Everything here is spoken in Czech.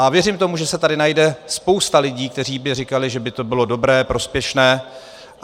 A věřím tomu, že se tady najde spousta lidí, kteří by říkali, že by to bylo dobré, prospěšné.